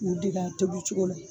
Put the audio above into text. U dege a tobi cogo la.